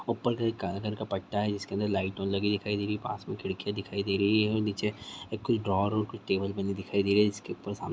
ऊपर कहीं काले कलर का पट्टा है जिसके अदर लाइट लगी हुई दिखाई दे रही पास मे खिड़किया दिखाई दे रही है और नीचे कुछ ड्रॉअर और कुछ टेबल बने दिखाई दे रहा जिसके ऊपर सामने--